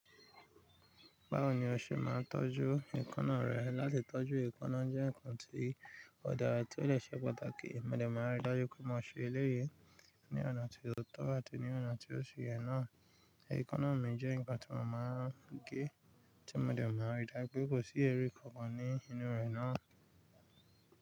Báwo ni o ṣe máa ń tọ́jú èékánná rẹ? Látí tọ́jú èékánná jẹ́ nǹkan tí ó dára tí ó dè ṣe pàtàkì. Mo dẹ̀ máa rí dájú pé mo ṣe eléyè ní ọ̀nà tí ó tọ́ àti ní ọ̀nà tí ó ṣe yẹn náà. Ẹ̀ékánná mi jẹ́ nǹkan tí mo máa ń gé, tí mo dẹ̀ máa rí dájú pé kò sí ẹrú kankan ní inú rẹ̀ náà.